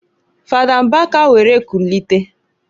Fada Mbaka were kulite.